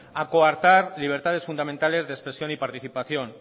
a coartar libertades fundamentales de expresión y participación